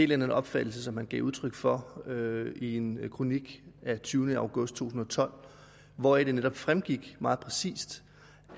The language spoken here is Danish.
den opfattelse som han gav udtryk for i en kronik den tyvende august to tusind og tolv hvoraf det netop fremgik meget præcist